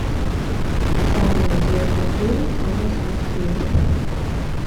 самый известный фильм андреса мускетти